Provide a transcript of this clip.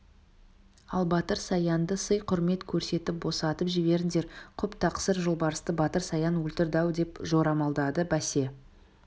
ал батыр саянды сый-құрмет көрсетіп босатып жіберіңдер құп тақсыр жолбарысты батыр саян өлтірді-ау деп жорамалдады бәсе